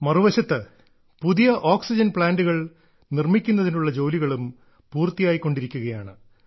മറുവശത്ത് പുതിയ ഓക്സിജൻ പ്ലാന്റുകൾ നിർമ്മിക്കുന്നതിനുള്ള ജോലികളും പൂർത്തിയായിക്കൊണ്ടിരിക്കുകയാണ്